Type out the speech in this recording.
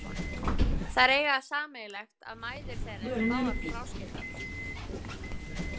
Þær eiga það sameiginlegt að mæður þeirra eru báðar fráskildar.